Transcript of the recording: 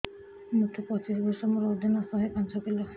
ମୋତେ ପଚିଶି ବର୍ଷ ମୋର ଓଜନ ଶହେ ପାଞ୍ଚ କିଲୋ